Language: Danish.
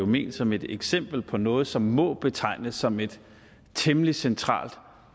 ment som et eksempel på noget som må betegnes som et temmelig centralt